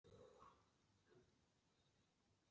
Betri er bið en bráðræði.